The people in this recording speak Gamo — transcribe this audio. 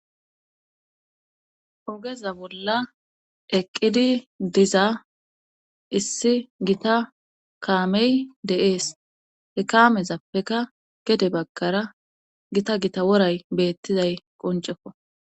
Ogeza bolla eqqidi diza issi gita kaamey de7ees he kaamezappeka gede baggara gita gita woray beettizay qonceko